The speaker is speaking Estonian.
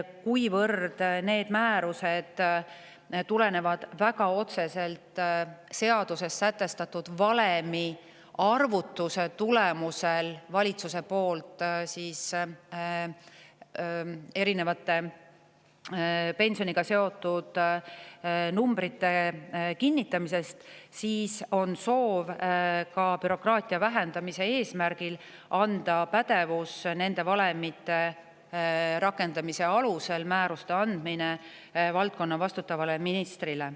Kuivõrd need määrused tulenevad väga otseselt sellest, et valitsus kinnitab seaduses sätestatud valemi arvutuse alusel pensioniga seotud summasid, siis soovime bürokraatia vähendamise eesmärgil anda nende määruste pädevus valdkonna vastutavale ministrile.